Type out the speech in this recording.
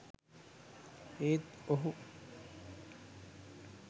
ඒත් ඔහු